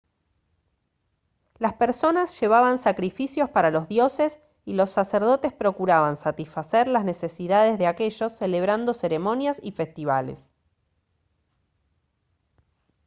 las personas llevaban sacrificios para los dioses y los sacerdotes procuraban satisfacer las necesidades de aquellos celebrando ceremonias y festivales